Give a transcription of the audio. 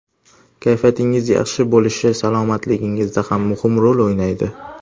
Kayfiyatingiz yaxshi bo‘lishi salomatligingizda ham muhim rol o‘ynaydi.